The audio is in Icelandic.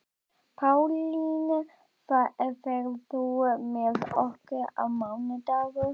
Pálín, ferð þú með okkur á mánudaginn?